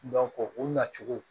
u nacogo